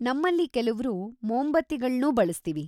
ನಮ್ಮಲ್ಲಿ ಕೆಲವ್ರು ಮೋಂಬತ್ತಿಗಳ್ನೂ ಬಳ್ಸ್ತೀವಿ.